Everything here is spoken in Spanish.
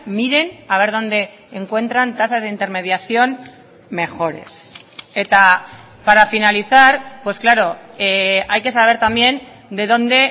miren a ver dónde encuentran tasas de intermediación mejores eta para finalizar pues claro hay que saber también de dónde